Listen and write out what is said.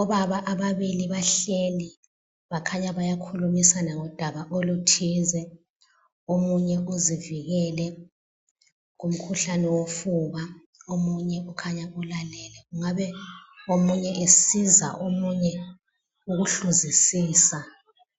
Obaba ababili bahleli bakhanya bayakhulumisana ngodaba oluthize. Omunye uzivikele kumkhuhlane wofuba omunye ukhanya ulalele. Kungabe omunye esiza omunye ukuhluzisisa